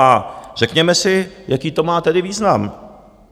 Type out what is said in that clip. A řekněme si, jaký to má tedy význam.